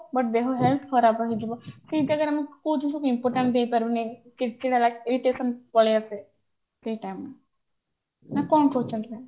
but ଦେହ health ଖରାପ ହେଇଯିବ ସେଇ ଜାଗାରେ ଆମେ କୋଉ ଜିନିଷକୁ ଆମେ important ଦେଇ ପାରୁନେ ଚିଡଚିଡା irritation ପଳେଇଆସେ ସେଇ time ରେ ନା କଣ କହୁଛନ୍ତି